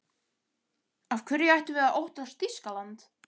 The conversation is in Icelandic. Af hverju ættum við að óttast Þýskaland?